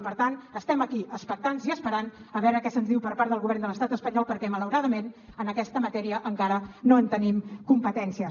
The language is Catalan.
i per tant estem aquí expectants i esperant a veure què se’ns diu per part del govern de l’estat espanyol perquè malauradament en aquesta matèria encara no en tenim competències